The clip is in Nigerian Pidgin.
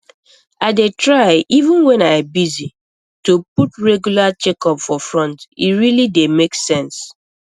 i dey try even when i busy to put regular checkups for front e really dey make sense